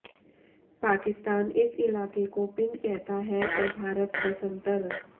पाकिस्तान इस इलाके को पिंड कहता है और भारत बसंतर